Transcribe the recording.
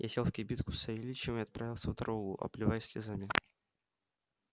я сел в кибитку с савельичем и отправился в дорогу обливаясь слезами